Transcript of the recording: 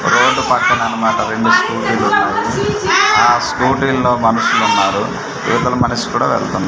road పక్కన అనమాట రెండు స్కూటీలు ఉన్నవి ఆ స్కూటీల్లో మనుషులున్నారు ఇవతల మనిషి కూడా వెళ్తూ--